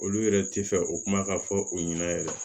Olu yɛrɛ tɛ fɛ o kuma ka fɔ u ɲɛna yɛrɛ